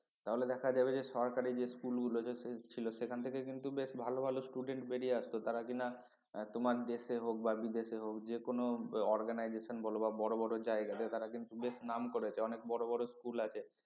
তাহলে দেখা যাবে যে সরকারী যে school যে ছিল সেখান থেকে কিন্তু বেশ ভালো ভালো student বেরিয়ে আসতো তারা কিনা তোমার দেশে হোক বা বিদেশে হোক যেকোন organisation বল বা বড় বড় জায়গাতে তারা কিন্তু বেশ নাম করেছে অনেক বড়ো বড়ো school আছে